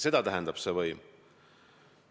Seda tähendab see võim.